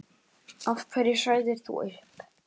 Af hverju sagðir þú upp?